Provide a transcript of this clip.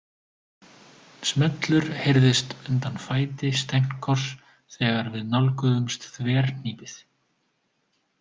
Smellur heyrðist undan fæti Stenkos þegar við nálguðumst þverhnípið.